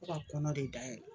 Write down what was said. Fo ka kɔnɔ de dayɛlɛ